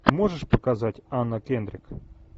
можешь показать анна кендрик